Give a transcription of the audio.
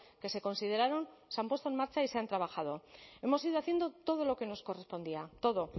que se consideraron se han puesto en marcha y se han trabajado hemos ido haciendo todo lo que nos correspondía todo